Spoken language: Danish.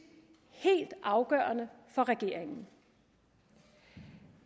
helt afgørende for regeringen